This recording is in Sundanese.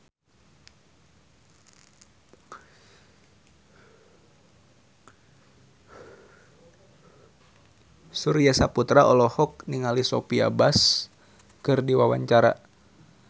Surya Saputra olohok ningali Sophia Bush keur diwawancara